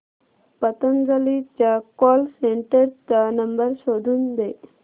पतंजली च्या call centre चा number शोधून दे